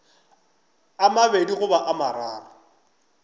a mabedi goba a mararo